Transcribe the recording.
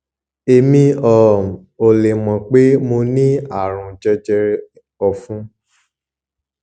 èmi um ò lè mọ pé mo ní àrùn jẹjẹrẹ ẹfun